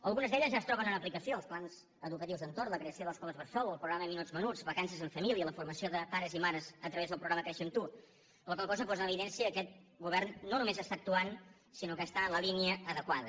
algunes d’elles ja es troben en aplicació els plans educatius d’entorn la creació d’escoles bressol el programa minuts menuts vacances en família la formació de pares i mares a través del programa créixer amb tu la qual cosa posa en evidència que aquest govern no només està actuant sinó que està en la línia adequada